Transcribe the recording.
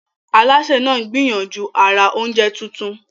Alásè náà ń gbìyànjú àrà oúnjẹ tuntun.